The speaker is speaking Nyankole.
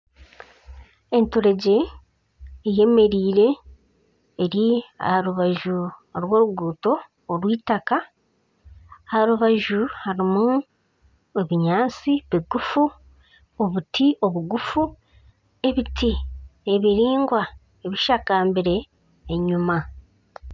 Enturegye eyemereire eri aharubaju rw'oruguuto orw'eitaka. Aha rubaju harimu obunyaatsi bugufu, obuti obugufu, ebiti ebiraingwa bishakambire enyima.